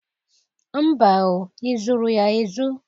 Mba o! Ị zụrụ ya ezu?